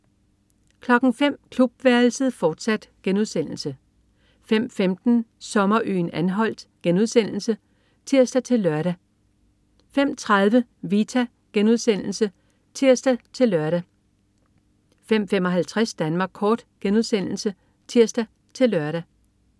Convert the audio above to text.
05.00 Klubværelset, fortsat* 05.15 Sommerøen Anholt* (tirs-lør) 05.30 Vita* (tirs-lør) 05.55 Danmark kort* (tirs-lør)